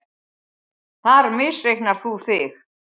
Þar misreiknar þú þig.